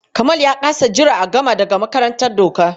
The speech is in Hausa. Kamal ya ƙasa jira ya gama daga makarantar doka.